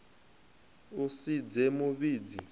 u si dze mu vhidzi